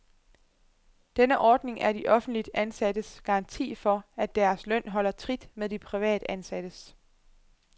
Denne ordning er de offentligt ansattes garanti for, at deres løn holder trit med de privatansattes.